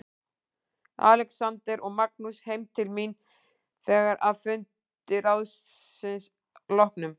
Alexander og Magnús heim til mín þegar að fundi ráðsins loknum.